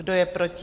Kdo je proti?